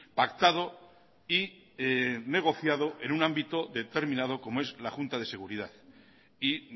pactado y negociado en un ámbito determinado como es la junta de seguridad y